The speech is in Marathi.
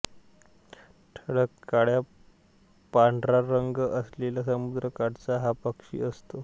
ठळक काळापांढरा रंग असलेला समुद्रकाठचा हा पक्षी असतो